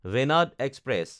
Venad express